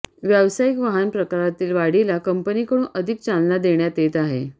व्यावसायिक वाहन प्रकारातील वाढीला कंपनीकडून अधिक चालना देण्यात येत आहे